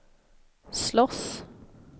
slåss